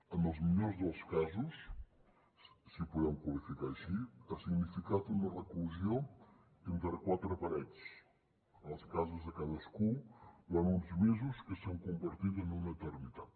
en els millors dels casos si ho podem qualificar així ha significat una reclusió entre quatre parets a les cases de cadascú durant uns mesos que s’han convertit en una eternitat